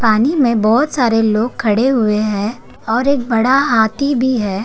पानी में बोहोत सारे लोग खड़े हुए हैं और एक बड़ा हाथी भी है।